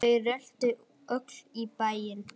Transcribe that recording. Þau röltu öll í bæinn.